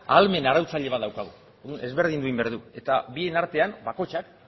ahalmen arautzaile bat daukagu ezberdindu behar ditugu eta bien artean bakoitzak